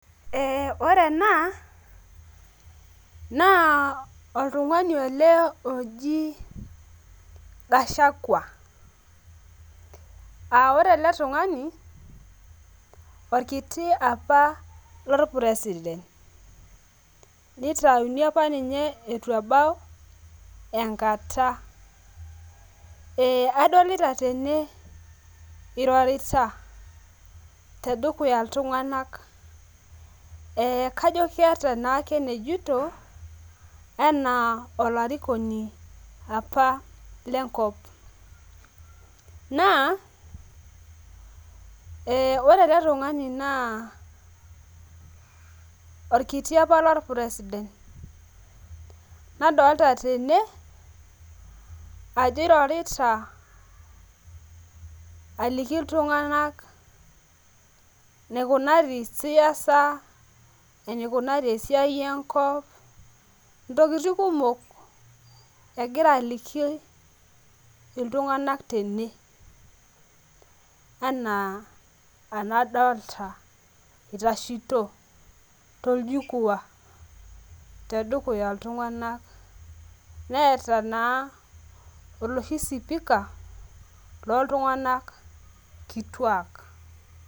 Eh ore ena naa oltungani ele loji gashagua ah ore ele tung'ani orkiti apa lopuresiden nitayuni apa ninye eitu ebau enkata eha adolita tene irorita teneduya iltunganak eh kajo keata naake enejoito enaa olarikoni apa lenkop naa eh ore ele tung'ani naa orkiti apa lopuresiden nadolita tene ajo irorita alaiki iltunganak enekunari siasa eneikunare esiai enkop tokitin kumok egira aliki iltunganak tene enaa enadolita itashito toljikuwa tedukuya iltunganak netaa naa oloshi sipika looltunganak kituak.